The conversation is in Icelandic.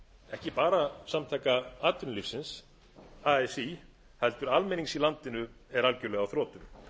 ekki bara samtaka atvinnulífsins así heldur almennings í landinu er algjörlega á þrotum